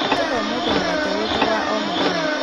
ũtũhe ũmũthĩ mũgate witũ wa o mũthenya